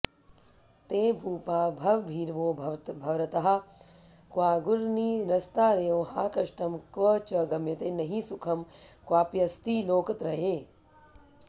ते भूपा भवभीरवो भवरताः क्वागुर्निरस्तारयो हा कष्टं क्व च गम्यते नहि सुखं क्वाप्यस्ति लोकत्रये